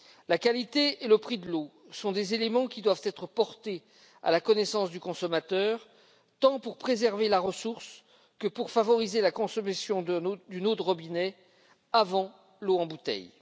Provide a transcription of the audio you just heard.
La qualité et le prix de l'eau sont des éléments qui doivent être portés à la connaissance du consommateur, tant pour préserver la ressource que pour favoriser la consommation d'une eau de robinet avant l'eau en bouteille.